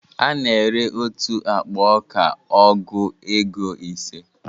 A na ere otu akpa ọka ọgụ égo ise